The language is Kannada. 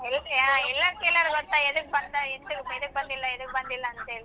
ಹೌದರ್ಯ ಎಲ್ಲರೂ ಕೇಳ್ಯಾರ ಗೊತ್ತಾ ಎದಕ್ ಬಂದ ಎದಕ್ ಬಂದಿಲ್ಲಾ ಎದಕ್ ಬಂದಿಲ್ಲಾ ಅಂತ ಹೇಳಿ.